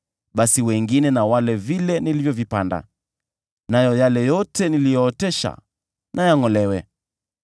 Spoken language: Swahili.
basi wengine na wale nilichokipanda, nayo yale yote niliyootesha na yangʼolewe.